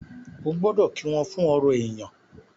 o gbódò kí wón fún ọrọ èyán.